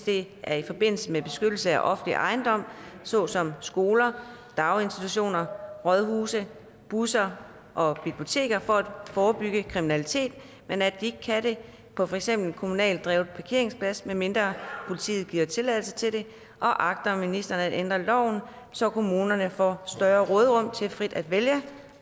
det er i forbindelse med beskyttelse af offentlig ejendom såsom skoler daginstitutioner rådhuse busser og biblioteker for at forebygge kriminalitet men at de ikke kan det på for eksempel en kommunalt drevet parkeringsplads medmindre politiet giver tilladelse til det og agter ministeren at ændre loven så kommunerne får større råderum til frit at vælge